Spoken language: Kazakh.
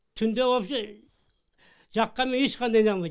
түнде вообще жаққанмен ешкқандай нанбайды